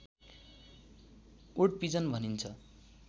उड पिजन भनिन्छ